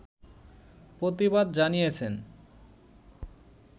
প্রতিবাদ জানিয়েছেন